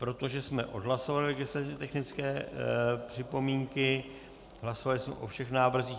Protože jsme odhlasovali legislativně technické připomínky, hlasovali jsme o všech návrzích.